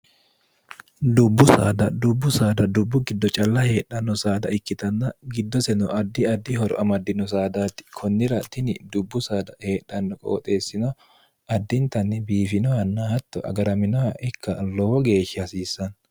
dubbu saada dubbu saada dubbu giddo calla heedhanno saada ikkitanna giddose no addi addi horo amaddino saadaatti kunnira tini dubbu saada heedhanno qooxeessino addintanni biifinohanna hatto agaraminoha ikka lowo geeshsha hasiissanno